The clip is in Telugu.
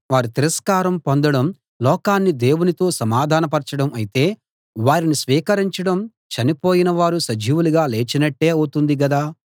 వారు తిరస్కారం పొందడం లోకాన్ని దేవునితో సమాధానపరచడం అయితే వారిని స్వీకరించడం చనిపోయిన వారు సజీవులుగా లేచినట్టే అవుతుంది గదా